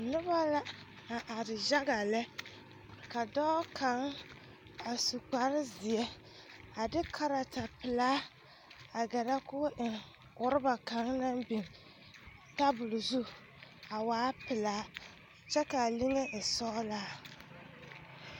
Noba la a are yaga lɛ ka dɔɔ kaŋ a su kparezeɛ a de kartapelaa a gɛrɛ k,o eŋ orɔba kaŋ naŋ biŋ tabol zu a waa pelaa kyɛ k,a liŋe e sɔglaa.